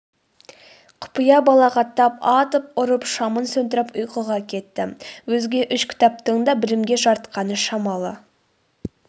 құпия балағаттап атып ұрып шамын сөндіріп ұйқыға кетті өзге үш кітаптың да білімге жарытқаны шамалы